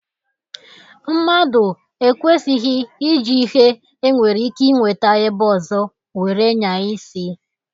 Mmadu ekwesighj iji ihe e nwere ike inweta ebe ozo were nyaa isi